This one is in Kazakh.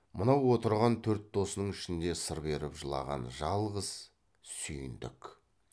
мынау отырған төрт досының ішінде сыр беріп жылаған жалғыз сүйіндік